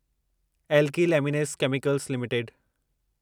alkyl Amines Chemicals limited